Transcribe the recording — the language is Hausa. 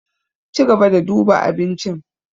Cigaba da duba abincin.